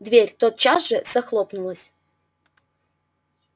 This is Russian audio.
дверь тотчас же захлопнулась